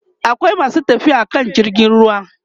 akwai masu tafiya akan jirgin ruwa